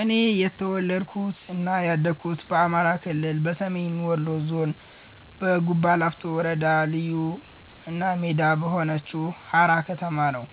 እኔ የተወለድኩት እና ያደኩት በአማራ ክልል፣ በሰሜን ወሎ ዞን፣ በጉባላፍቶ ወረዳ ልዩ እና ሜዳ በሆነችው ሃራ ከተማ ነው።